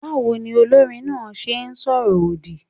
Báwo ni olórin náà ṣe ìsọ̀rọ̀ òdì?